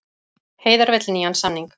Heiðar vill nýjan samning